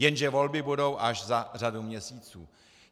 Jenže volby budou až za řadu měsíců.